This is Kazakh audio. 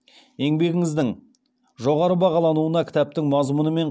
еңбегіңіздің жоғары бағалануына кітаптың мазмұны мен